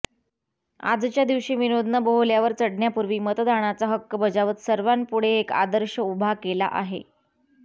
आजच्या दिवशी विनोदनं बोहल्यावर चढण्यापूर्वी मतदानाचा हक्क बजावत सर्वांपुढे एक आदर्श उभा केला आहे